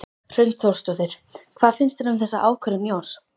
Hrund Þórsdóttir: Hvað finnst þér um þessa ákvörðun Jóns?